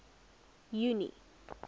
junie